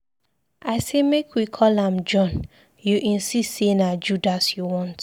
I say make we call am John, you insist say na Judas you want